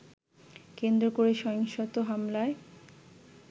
কেন্দ্র করে সহিংসত হামলায়